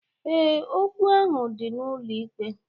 Ee, okwu ahụ dị n'ụlọ ikpe